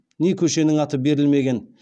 не көшенің аты берілмеген